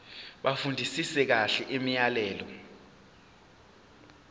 bafundisise kahle imiyalelo